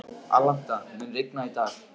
Alanta, mun rigna í dag?